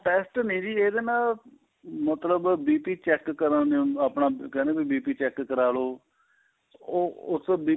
test ਨਹੀਂ ਇਹਦੇ ਨਾਂ ਮਤਲਬ BP check ਕਰਨ ਨੂੰ ਆਪਣਾ ਕਹਿੰਦੇ BP check ਕਰਾਲੋ ਉਹ ਉਸ ਵਿੱਚ